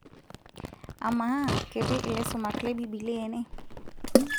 amaa ketii ilaisumak le bibilia ene